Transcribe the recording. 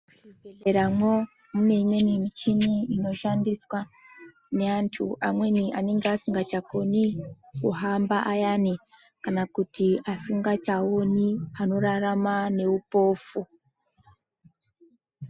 Muzvibhedhleramwo mune imweni michini inoshandiswa neanthu amweni anenge asingachakoni kuhamba ayani kana kuti asingachaon kana kuti anorarama neupofu.